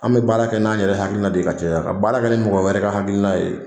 An bɛ baara kɛ n'an yɛrɛ hakilina de ka cɛ ka baara kɛ ni mɔgɔ wɛrɛ ka hakilina ye